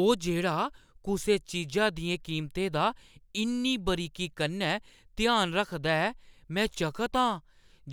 ओह् जेह्‌ड़ा कुसै चीजा दियें कीमतें दा इन्नी बारीकी कन्नै ध्यान रखदा ऐ, में चकत आं